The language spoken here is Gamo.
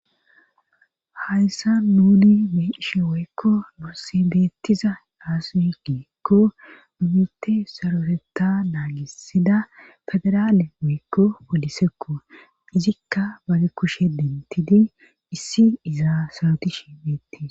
hayssa nuni beishe woykko morsi beettiza aasugeekko numite saroteta naagisida federaale woykko polisekko izikka bage kushe dentidi issi izaa sarotishi beettiz